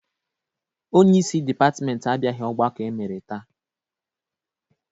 Onyeisi dịpatịmentị abịaghị ọgbakọ e mere taa.